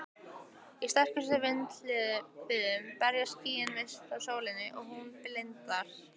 Í sterkustu vindhviðunum berast skýin frá sólinni svo hún blindar.